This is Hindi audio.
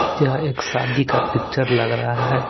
यह एक शादी का पिक्चर लग रहा है।